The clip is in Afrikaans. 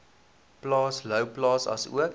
plaas louwplaas asook